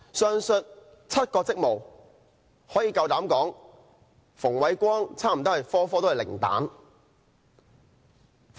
上述7個職務，我敢膽說馮煒光差不多全都取得零分。